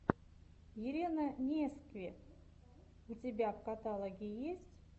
елена нескви у тебя в каталоге есть